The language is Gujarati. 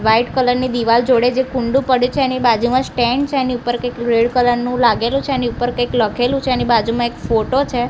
વ્હાઇટ કલર ની દીવાલ જોડે જે કુંડુ પડ્યુ છે એની બાજુમાં સ્ટેન્ડ છે એની ઉપર કઈક રેડ કલર નુ લાગેલુ છે એની ઉપર કઈક લખેલુ છે એની બાજુમાં એક ફોટો છે.